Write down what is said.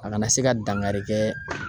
A kana se ka dankari kɛ